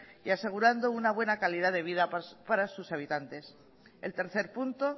y asegurando una buena calidad de vida para sus habitantes el tercer punto